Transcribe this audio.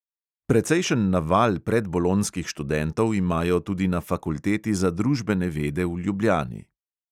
Precejšen naval predbolonjskih študentov imajo tudi na fakulteti za družbene vede v ljubljani.